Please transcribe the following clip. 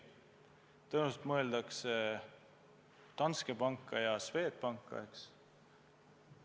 Tõenäoliselt mõtlete Danske Banki ja Swedbanki, eks ole.